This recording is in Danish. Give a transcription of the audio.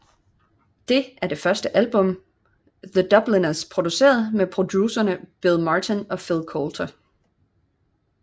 Det er det første album The Dubliners producerede med producerne Bill Martin og Phil Coulter